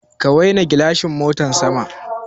Ka waina gilashin motan sama.